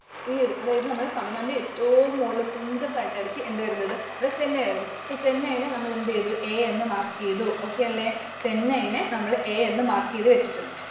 ഈ ഒരു, അതായത് നമ്മുടെ തമിഴ്‌നാടിന്റെ ഏറ്റവും മുകളിൽതുമ്പത്തു ആയിട്ടാണ് എന്ത് വരുന്നത് Chennai വരുന്നത്. Chennai നെ നമ്മൾ എന്ത് ചെയ്‌തു? A എന്ന് mark ചെയ്തു. Okay അല്ലെ? Chennai നെ നമ്മൾ A എന്ന് mark ചെയ്തു വെച്ചിട്ടുണ്ട്.